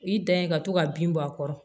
I dan ye ka to ka bin bɔ a kɔrɔ